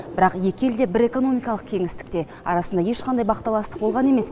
бірақ екі ел де бір экономикалық кеңістікте арасында ешқандай бақталастық болған емес